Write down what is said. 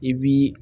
I b'i